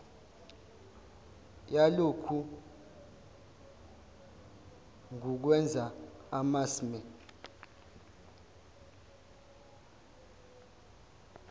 yalokhu ngukwenza amasmme